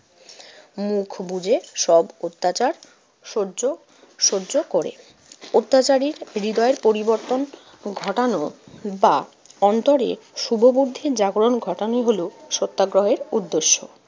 মুখ বুজে সব অত্যাচার সহ্য সহ্য করে। অত্যাচারীর হৃদয়ের পরিবর্তন ঘটানো বা অন্তরে শুভ বুদ্ধির জাগরণ ঘটানোই হলো সত্যাগ্রহের উদ্দেশ্য।